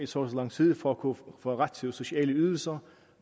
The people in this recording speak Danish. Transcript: så lang tid for at kunne få ret til sociale ydelser